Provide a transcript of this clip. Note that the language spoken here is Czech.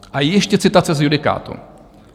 A ještě citace z judikátu.